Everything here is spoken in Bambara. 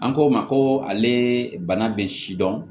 An ko ma ko ale bana bɛ si dɔn